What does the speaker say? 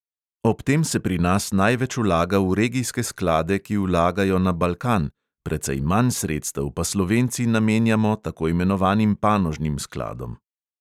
Ob tem se pri nas največ vlaga v regijske sklade, ki vlagajo na balkan, precej manj sredstev pa slovenci namenjamo tako imenovanim panožnim skladom.